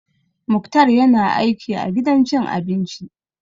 Muktar ya na aiki a gidan cin abinci